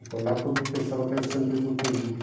Então lá todo mundo pensava que era o Saint-Exupéry.